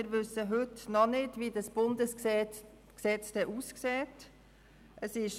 Wir wissen heute noch nicht, wie das Bundesgesetz aussehen wird.